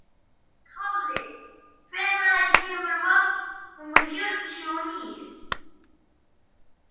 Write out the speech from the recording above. Kalli, hvenær kemur vagn númer fjörutíu og níu?